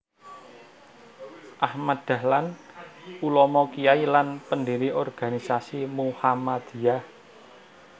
Ahmad Dahlan Ulama Kyai lan pendiri organisasi Muhammadiyah